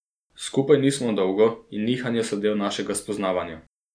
Skupaj nismo dolgo in nihanja so del našega spoznavanja.